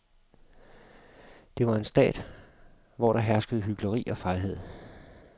Det var en stat, hvor der herskede hykleri og fejhed.